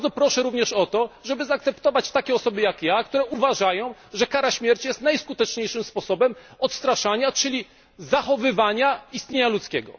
Bardzo proszę również o to, żeby zaakceptować takie osoby jak ja, które uważają, że kara śmierci jest najskuteczniejszym sposobem odstraszania, czyli zachowywania istnienia ludzkiego.